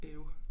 Øv